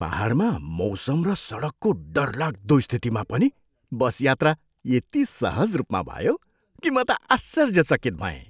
पाहाडमा मौसम र सडकको डरलाग्दो स्थितिमा पनि बस यात्रा यति सहज रूपमा भयो कि, म त आश्चर्यचकित भएँ!